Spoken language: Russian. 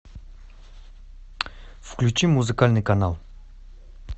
включи музыкальный канал